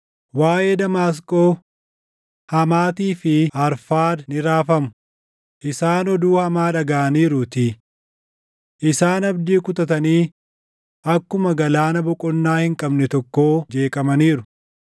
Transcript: Waaʼee Damaasqoo: “Hamaatii fi Arfaad ni raafamu; isaan oduu hamaa dhagaʼaniiruutii. Isaan abdii kutatanii akkuma galaana boqonnaa hin qabne tokkoo jeeqamaniiru.